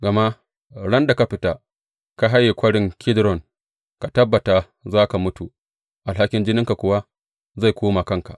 Gama ran da ka fita, ka haye Kwarin Kidron, ka tabbata za ka mutu, alhakin jininka kuwa zai koma kanka.